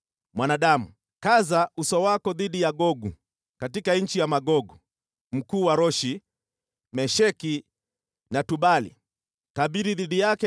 “Mwanadamu, kaza uso wako dhidi ya Gogu, katika nchi ya Magogu, mkuu wa Roshi, Mesheki na Tubali, tabiri dhidi yake